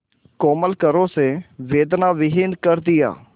कोमल करों से वेदनाविहीन कर दिया